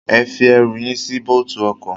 Ẹ fi ẹrù yín sí bóótù ọkọ.